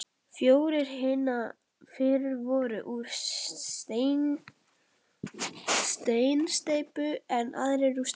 Fjórir hinna fyrri voru úr steinsteypu, en aðrir úr stáli.